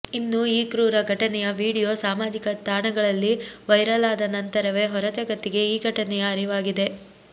ಇನ್ನು ಈ ಕ್ರೂರ ಘಟನೆಯ ವೀಡಿಯೋ ಸಾಮಾಜಿಕ ತಾಣಗಳಲ್ಲಿ ವೈರಲ್ ಆದ ನಂತರವೇ ಹೊರಜಗತ್ತಿಗೆ ಈ ಘಟನೆಯ ಅರಿವಾಗಿದೆ